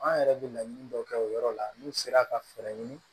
An yɛrɛ bɛ laɲini dɔ kɛ o yɔrɔ la n'u sera ka fɛɛrɛ ɲini